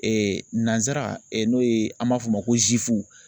nanzarara n'o ye an b'a f'o ma ko